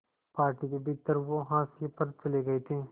party के भीतर वो हाशिए पर चले गए थे